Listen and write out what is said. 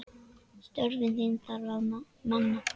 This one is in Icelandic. Störfin þar þarf að manna.